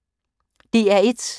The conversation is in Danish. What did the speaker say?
DR1